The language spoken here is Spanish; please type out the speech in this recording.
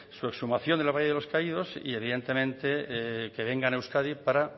su exhumación del valle de los caídos y evidentemente que vengan a euskadi para